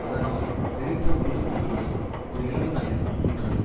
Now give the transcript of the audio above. அதனால் தெறித்த குண்டு துகள்கள் ஒரு இளம்பெண்ணைக் கொன்றது